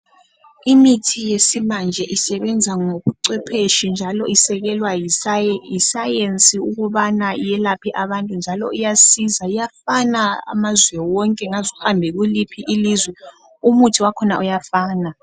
Imithi yesimanje isebenza ngobucwepheshi njalo isekelwa yisa yisayensi ukuthi iyelaphe abantu, njalo iyasiza. Iyafana amazwe wonke ngaze uhambe kuliphi ilizwe umuthi wakhona uyafana.